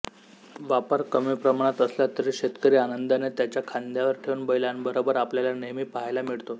वापर कमी प्रमाणात असला तरी शेतकरी आनंदाने त्याच्या खांद्यावर ठेवून बैलांबरोबर आपल्याला नेहमी पाहायला मिळतो